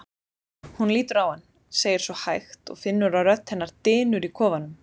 Hún lítur á hann, segir svo hægt og finnur að rödd hennar dynur í kofanum.